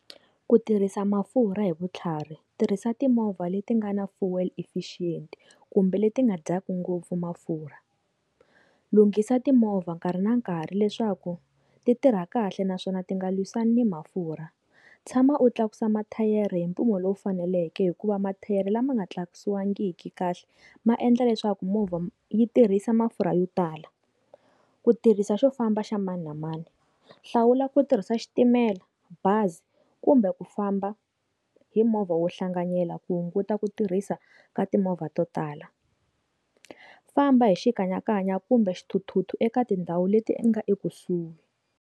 Ku tirhisa mafurha hi vutlhari tirhisa timovha leti nga na fuel efficient kumbe leti nga dyaka ngopfu mafurha lunghisa timovha nkarhi na nkarhi leswaku ti tirha kahle naswona ti nga lwisana mafurha tshama u tlakusa mathayere hi mpimo lowu faneleke hikuva mathayere lama nga tlakusiwa vangiki kahle maendla leswaku movha yi tirhisa mafurha yo tala ku tirhisa swo famba xa mani na mani hlawula ku tirhisa xitimela bazi kumbe ku famba hi movha wo hlanganyela ku hunguta ku tirhisa ka timovha to tala famba hi xikanyakanya kumbe swithuthuthu eka tindhawu leti nga ekusuhi.